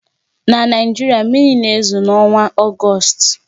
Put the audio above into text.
Na Naịjirịa, mmiri na-ezo n'ọnwa Ọgọst